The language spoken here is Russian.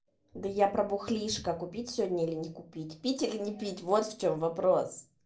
да я про бухлишко купить сегодня или не купить пить или не пить вот в чем вопрос